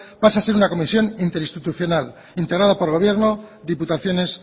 pasa a ser una comisión interinstitucional integrada por el gobierno diputaciones